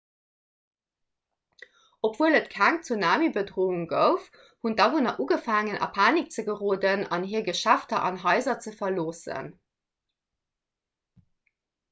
obwuel et keng tsunamibedroung gouf hunn d'awunner ugefaangen a panik ze geroden an hir geschäfter an haiser ze verloossen